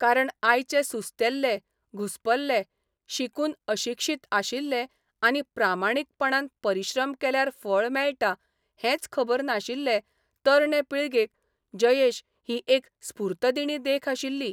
कारण आयचे सुस्तेल्ले, घुस्पल्ले, शिकून अशिक्षीत आशिल्ले आनी प्रामाणीकपणान परिश्रम केल्यार फळ मेळटा हेंच खबर नाशिल्ले तरणे पिळगेक जयेश ही एक स्फूर्तदिणी देख आशिल्ली.